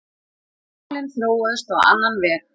Málin þróuðust á annan veg.